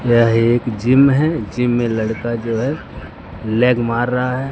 यह एक जिम है जिम मे लड़का जो है लेग मार रहा है।